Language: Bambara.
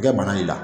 Kɛ bana y'i la